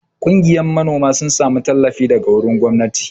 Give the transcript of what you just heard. Kungiya manoma sun samu tallafi daga wurin gwamnati.